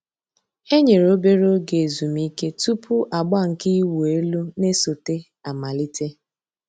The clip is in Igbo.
E nyèrè òbèrè ògè èzùmìké túpù àgbà nke ị̀wụ̀ èlù nà-èsọ̀té àmàlítè.